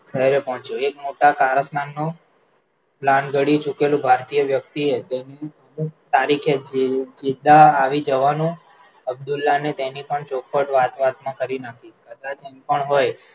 પોહ્ચ્યો એક મોટા કારસ્તાનનું plan ઘડી ચૂકેલ ભારતીય વ્યકતિએ તારીખે સીધા આવી જવાનું અબ્દુલાને તેની પણ ચોખવટ વાતવાત માં કરી નાખી